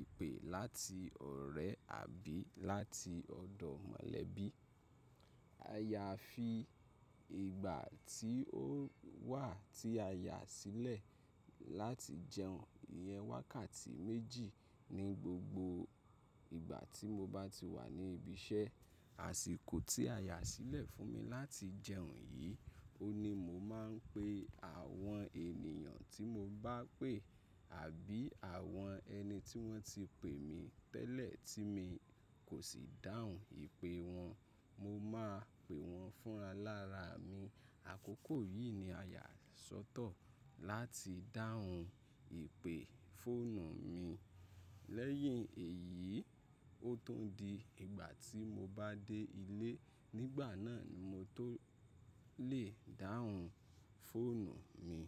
ìpè láti ọ̀rẹ́ àbí láti ọ̀dọ̀ mọ̀lẹ́bí. Àyà fi ìgbà tí ó wà tí a yà sílẹ̀ láti jẹun yẹn wákàtí méjì ní gbogbo ìgbà tí mo bá ti wà ní ibi iṣẹ́. Àsìkò tí a yà sílẹ̀ fún mi láti jẹun yìí, ò ní mo máa ń pe àwọn ènìyàn tí mo bá pè àbí àwọn ẹni tí wọ́n ti pè mí tẹ́lẹ̀ tí mi kò sì dáhùn ìpè wọn. Mo máa pè wọ́n fún alára mi. Àkókò yìí ni a yà sọ́tọ̀ láti dáhùn ìpè fóònù mi. Lẹ́yìn èyí, ó tún di ìgbà tí mo bá dé ilé, nígbà náà ni mo tó lè dáhùn fóònù mi.